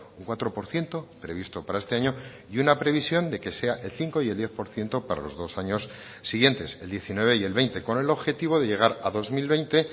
un cuatro por ciento previsto para este año y una previsión de que sea el cinco y el diez por ciento para los dos años siguientes el diecinueve y el veinte con el objetivo de llegar a dos mil veinte